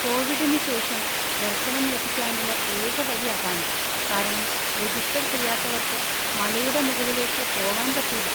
കോവിഡിന് ശേഷം ദർശനം ലഭിക്കാനുള്ള ഏക വഴി അതാണ്, കാരണം രജിസ്റ്റർ ചെയ്യാത്തവർക്ക് മലയുടെ മുകളിലേക്ക് പോവാൻ പറ്റൂല.